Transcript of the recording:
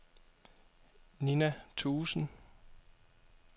Nina Thuesen